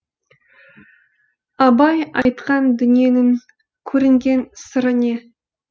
абай айтқан дүниенің көрінген сыры не